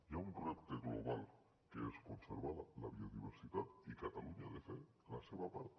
hi ha un repte global que és conservar la biodiversitat i catalunya ha de fer la seva part